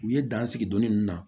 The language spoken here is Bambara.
U ye dan sigi dɔnnin ninnu na